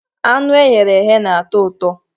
Anụ e ghere eghe na-atọ ụtọ.